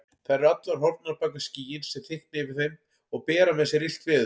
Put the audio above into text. Þær eru allar horfnar bak við skýin sem þykkna yfir þeim og bera með sér illt veður.